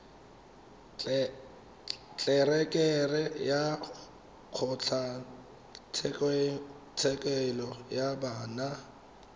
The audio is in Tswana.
tlelereke ya kgotlatshekelo ya bana